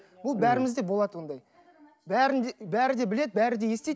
бұл бәрімізде болады ондай бәрін де бәрі де біледі бәрін де естиді